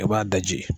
I b'a daji